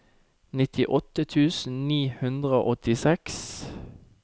nittiåtte tusen ni hundre og åttiseks